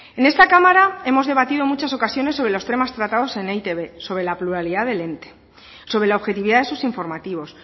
en esta cámara hemos debatido en muchas ocasiones sobre los temas tratados en e i te be sobre la pluralidad del ente sobre la objetividad de sus informativos